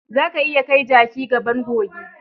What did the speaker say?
Zaka iya kai jaki gaban kogi.